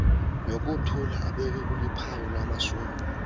nokuthula obekuluphawu lwamashumi